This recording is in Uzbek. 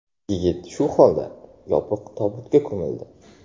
Yigit shu holda, yopiq tobutda ko‘mildi.